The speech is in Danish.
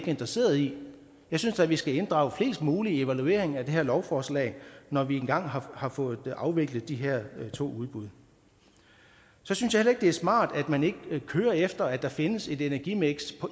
interesseret i det jeg synes da vi skal inddrage flest mulige i evalueringen af det her lovforslag når vi engang har fået afviklet de her to udbud så synes jeg heller ikke det er smart at man ikke kører efter at der findes et energimiks